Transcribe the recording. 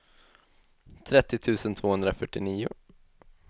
trettio tusen tvåhundrafyrtionio